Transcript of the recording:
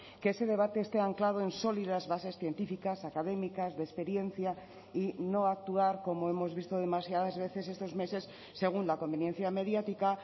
que ese debate este anclado en sólidas bases científicas académicas de experiencia y no actuar como hemos visto demasiadas veces estos meses según la conveniencia mediática